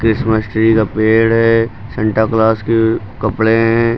Christmas tree का पेड़ है सेंटा क्लास के कपड़े हैं।